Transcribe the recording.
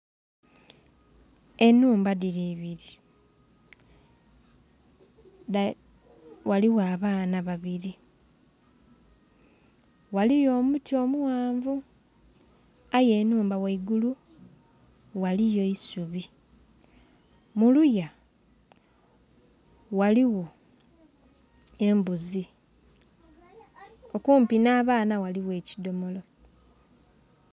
Enhumba dhili ibili, ghaligho abaana babili, ghaliyo omuti omughanvu aye enhumba ghaigulu ghaliyo eisubi. Mu luya ghaligho embuzi okumpi nh'abaana ghaligho ekidhomolo.